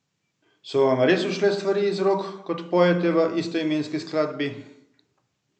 So vam res ušle stvari iz rok, kot pojete v istoimenski skladbi?